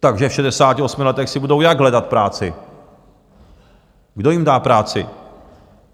Takže v 68 letech si budou jak hledat práci, kdo jim dá práci?